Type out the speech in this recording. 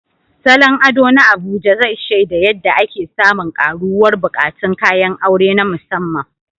Salon ado na Abuja zai shaida yadda ake samun ƙaruwar buƙatun kayan aure na musamman.